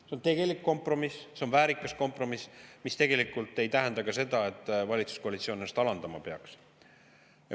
See on tegelik kompromiss, see on väärikas kompromiss ja ei tähenda seda, et valitsuskoalitsioon ennast alandama peaks.